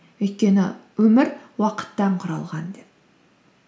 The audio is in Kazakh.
өйткені өмір уақыттан құралған деп